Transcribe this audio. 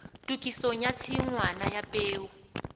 tokisong ya tshingwana ya peo